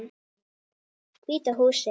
Hvíta húsið.